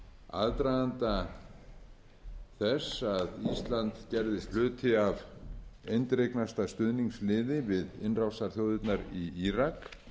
aðdraganda þess að ísland gerðist hluti af eindregnasta stuðningsliði við innrásarþjóðirnar í írak